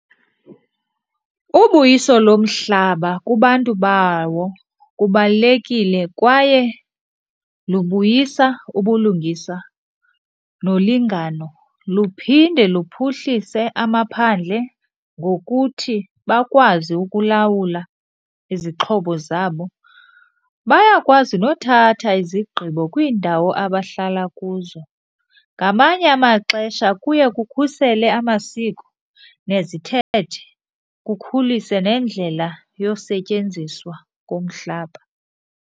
Ubuyiso lomhlaba kubantu bawo kubalulekile kwaye lubuyisa ubulungisa nolingano. Luphinde luphuhlise amaphandle ngokuthi bakwazi ukulawula izixhobo zabo, bayakwazi nothatha izigqibo kwiindawo abahlala kuzo. Ngamanye amaxesha kuye kukhusele amasiko nezithethe, kukhulise nendlela yosetyenziswa komhlaba.